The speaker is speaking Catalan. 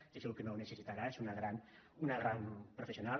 estic segur que no ho necessitarà és una gran professional